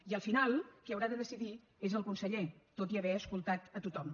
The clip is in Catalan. i al final qui haurà de decidir és el conseller tot i haver escoltat a tothom